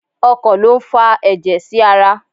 Ọkàn lo n fà ẹjẹ sí ará